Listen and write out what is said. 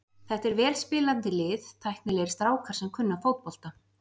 Þetta er vel spilandi lið, tæknilegir strákar sem kunna fótbolta.